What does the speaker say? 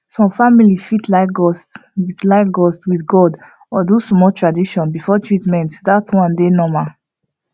some family fit like gust with like gust with god or do small tradition before treatment that one dey normal